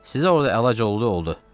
Sizə orada əlac oldu, oldu.